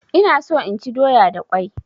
Ina so inchi doya da kwai